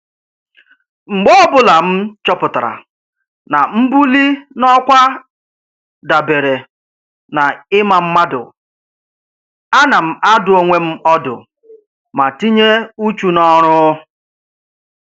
Mgbe ọbụla m chọpụtara na mbuli n'ọkwa dabeere na ịma mmadụ, ana m adụ onwe m ọdụ ma tinye uchu n'ọrụ